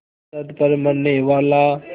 सरहद पर मरनेवाला